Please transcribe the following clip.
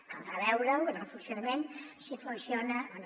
caldrà veure ho en el funcionament si funciona o no